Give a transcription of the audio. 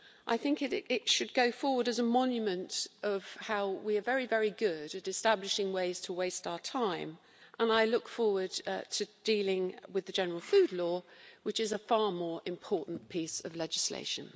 I think it should go forward as a monument of how we are very, very good at establishing ways to waste our time and I look forward to dealing with the general food law, which is a far more important piece of legislation.